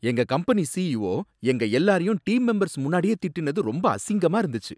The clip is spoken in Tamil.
எங்க கம்பெனி சிஈஒ எங்க எல்லாரையும் டீம் மெம்பர்ஸ் முன்னாடியே திட்டுனது ரொம்ப அசிங்கமா இருந்துச்சு.